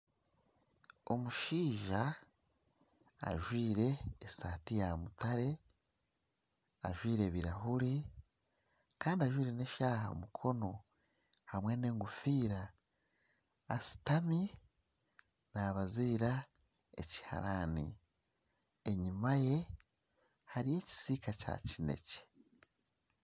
Omushaija ajwaire esaati yamutare, ajwaire ebirahuuri kandi ajwaire n'eshaaha aha mukono hamwe n'egofiira ashutami nabaziira ekiharaani enyima ye hariyo ekisiika kya kinekye.